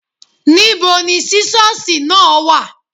Níbo ni sísọ́sì náà wà.?